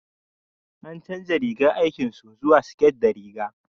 an canja rigar aikin su zuwa siket da riga